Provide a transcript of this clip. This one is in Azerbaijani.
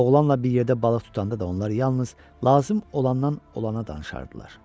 Oğlanla bir yerdə balıq tutanda da onlar yalnız lazım olandan olana danışardılar.